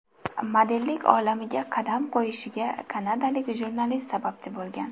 Modellik olamiga qadam qo‘yishiga kanadalik jurnalist sababchi bo‘lgan.